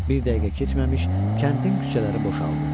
Bir dəqiqə keçməmiş kəndin küçələri boşaldı.